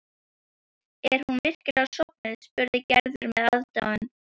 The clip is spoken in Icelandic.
Er hún virkilega sofnuð? spurði Gerður með aðdáun.